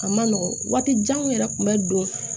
A man nɔgɔn waati janw yɛrɛ kun bɛ don